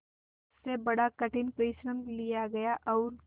उससे बड़ा कठिन परिश्रम लिया गया और